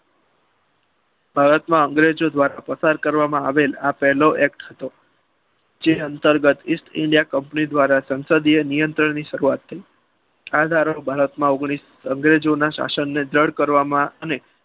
ભારતમાં અંગ્રેજો દ્વારા પસાર કરવામાં આવેલ પહેલો act હતો જે અંતર્ગત ઇસ્ટ ઇન્ડિયા company દ્વારા સંસદીય નિયંત્રણની શરૂઆત થઈ. આગળ ભારતમાં અંગ્રેજો અંગ્રેજોના શાસનને બંધ કરવા અને